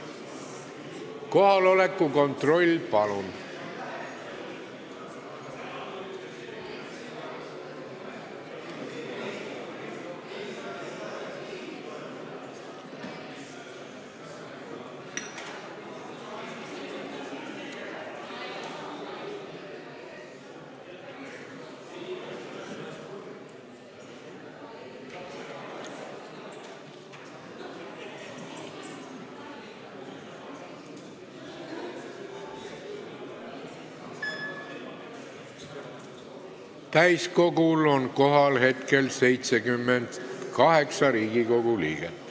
Kohaloleku kontroll Täiskogul on kohal 78 Riigikogu liiget.